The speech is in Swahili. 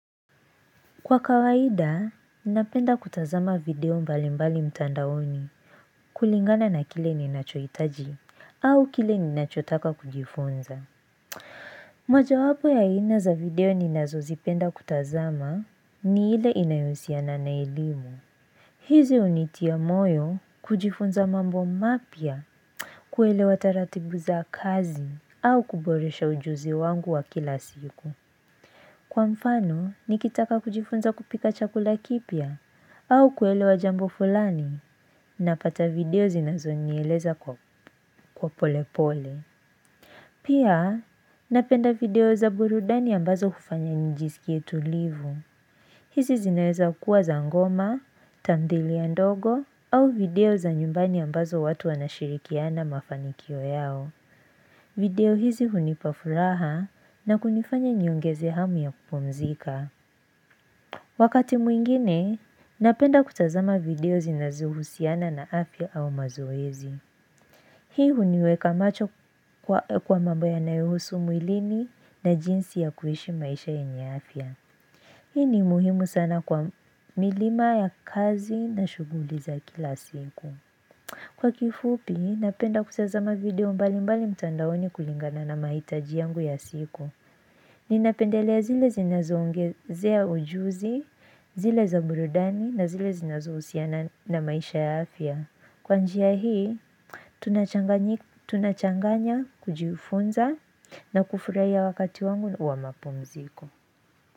Kwa kawaida, napenda kutazama video mbali mbali mtandaoni kulingana na kile ninachoitaji au kile ninachotaka kujifunza. Mwaja wapo ya aina za video ninazo zipenda kutazama ni ile inayohusiana na elimu. Hizi hunitia moyo kujifunza mambo mapya kuelewa taratibu za kazi au kuboresha ujuzi wangu wa kila siku. Kwa mfano, nikitaka kujifunza kupika chakula kipia, au kuelewa jambo fulani, napata video zinazo nieleza kwa pole pole. Pia, napenda video za burudani ambazo kufanya nijisikie tulivu. Hizi zinaweza kuwa za ngoma, tamthilia ndogo, au video za nyumbani ambazo watu wanashirikiana mafanikio yao. Video hizi hunipa furaha na kunifanya niongeze hamu ya kupumzika. Wakati mwingine, napenda kutazama video zinazuhusiana na afya au mazoezi. Hii huniweka macho kwa mambo yanayo husu mwilini na jinsi ya kuhishi maisha yenye afya. Hii ni muhimu sana kwa milima ya kazi na shuguli za kila siku. Kwa kifupi, napenda kutazama video mbali mbali mtandaoni kulingana na mahitaji yangu ya siku. Ninapendelea zile zinazo ongezea ujuzi, zile za burudani na zile zinazo husiana na maisha ya afya. Kwanjia hii, tunachanganya kujifunza na kufurahia wakati wangu wa mapumziko.